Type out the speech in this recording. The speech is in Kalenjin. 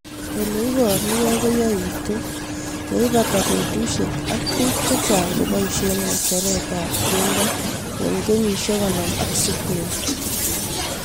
ole iparukei ko yaitu ye pata petushek ak piik chechang' kopoishe ng'echeret ab keldo eng kenyihek konom ak sitini